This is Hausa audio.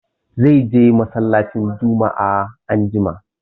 Zai je mallacin Jumma'a anjima.